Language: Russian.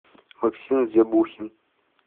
максим зебухин